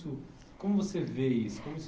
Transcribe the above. Como você vê isso? Como